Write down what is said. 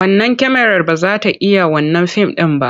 Wannan kyamarar ba za ta iya wannan fim ɗin ba.